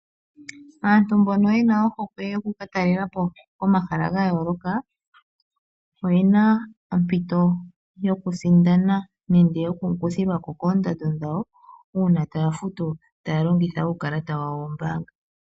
Aantu mbono yena ohokwe yokukatalela po komahala ga yooloka oye na ompito yokusindana nenge yokukuthilwa ko koondando dhawo uuna taya futu taya longitha uukalata wawo wombaanga.